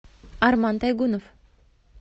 арман тайгунов